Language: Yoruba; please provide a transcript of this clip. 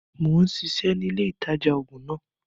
Mo ń ṣiṣẹ́ ni ilé ìtajà-oògùn náà